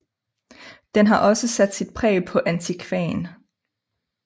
Den har også sat sit præg på antikvaen